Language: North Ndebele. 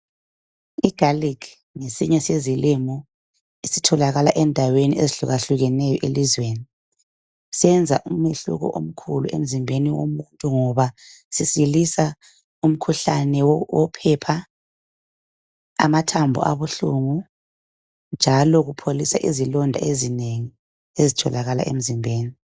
I garlic ngesinye sezilimo esitholakala endaweni ezihlukahlukeneyo elizweni senza umehluko omkhulu emzimbeni womuntu ngoba sisilisa umkhuhlane wophepha, amathambo abuhlungu njalo kupholisa izilonda ezinengi ezitholakala emzimbeni.